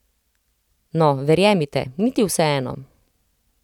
No, verjemite, ni ti vseeno.